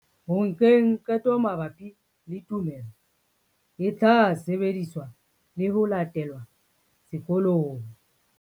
Ho nkeng qeto mabapi le tumelo e tla sebediswa le ho latelwa sekolong.